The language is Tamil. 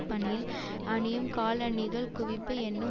பணியில் அணியும் காலணிகள் குவிப்பு என்னும்